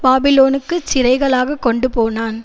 பாபிலோனுக்குச் சிறைகளாகக் கொண்டுபோனான்